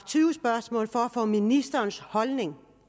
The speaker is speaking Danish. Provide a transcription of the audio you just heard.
tyve spørgsmål for at få ministerens holdning